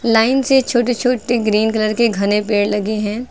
Line से छोटे छोटे ग्रीन कलर के घने पेड़ लगे हैं।